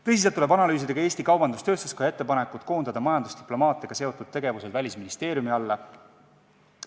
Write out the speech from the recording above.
Tõsiselt tuleb analüüsida ka Eesti Kaubandus-Tööstuskoja ettepanekut koondada majandusdiplomaatiaga seotud tegevused Välisministeeriumi alla.